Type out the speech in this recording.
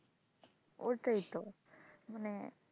ওটাই তো মানে,